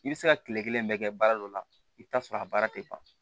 I bɛ se ka kile kelen bɛɛ kɛ baara dɔ la i bɛ taa sɔrɔ a baara tɛ ban